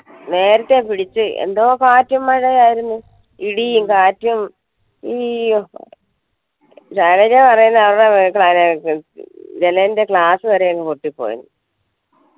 നേരത്തെ പിടിച്ചു എന്തോ കാറ്റും മഴയും ആയിരുന്നു ഇടിയും കാറ്റും ഈ ശൈലജ പറയുന്നു ജനലിന്റെ glass വരെ അങ്ങ് പൊട്ടിപ്പോയെന്ന്‌